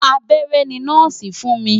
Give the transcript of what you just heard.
Abẹ́rẹ́ ni nọ́ọ̀sì fún mi.